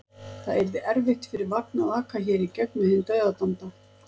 Það yrði erfitt fyrir vagn að aka hér í gegn með hinn dauðadæmda.